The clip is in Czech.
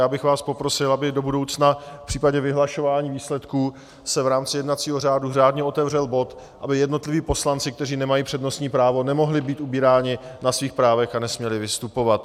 Já bych vás poprosil, aby do budoucna v případě vyhlašování výsledků se v rámci jednacího řádu řádně otevřel bod, aby jednotliví poslanci, kteří nemají přednostní právo, nemohli být ubíráni na svých právech a nesměli vystupovat.